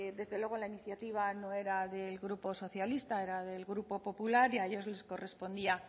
desde luego la iniciativa no era del grupo socialista era del grupo popular y a ellos les correspondía